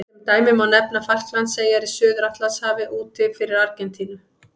Sem dæmi má nefna Falklandseyjar í Suður-Atlantshafi úti fyrir Argentínu.